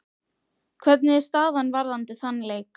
Hvernig er staðan varðandi þann leik?